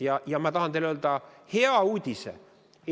Ma tahan teile öelda hea uudise.